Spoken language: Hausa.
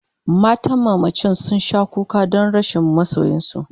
matan mamacin sun Sha kuka Dan rashin masoyinsu